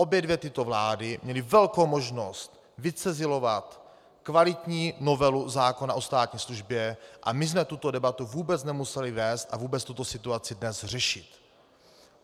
Obě dvě tyto vlády měly velkou možnost vycizelovat kvalitní novelu zákona o státní službě a my jsme tuto debatu vůbec nemuseli vést a vůbec tuto situaci dnes řešit.